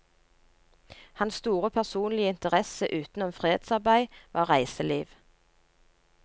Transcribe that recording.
Hans store personlige interesse utenom fredsarbeid var reiseliv.